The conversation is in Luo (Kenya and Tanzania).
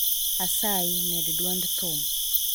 Asayi, med dwond thum